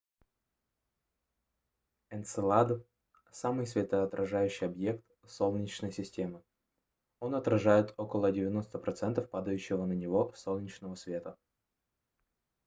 энцелад самый светоотражающий объект солнечной системы он отражает около 90 процентов падающего на него солнечного света